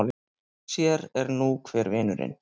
Sér er nú hver vinurinn!